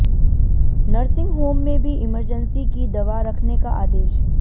nursing home में भी emergency की दवा रखने का आदेश